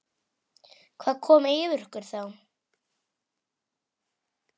Hvað kom yfir okkur þá?